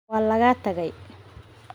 Waa lagaa tagay.